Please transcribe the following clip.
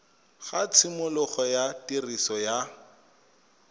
ga tshimologo ya tiriso ya